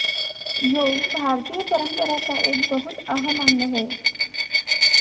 योग भारतीय परंपरा का एक बहुत अहम अंग है